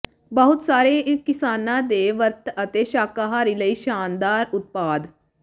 ਬਹੁਤ ਸਾਰੇ ਨਿਸ਼ਾਨਾਂ ਦੇ ਵਰਤ ਅਤੇ ਸ਼ਾਕਾਹਾਰੀ ਲਈ ਸ਼ਾਨਦਾਰ ਉਤਪਾਦ